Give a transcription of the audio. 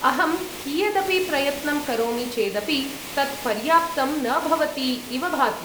अहं कियदपि प्रयत्नं करोमि चेदपि तत् पर्याप्तं न भवति इव भाति।